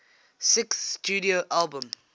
sixth studio album